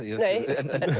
en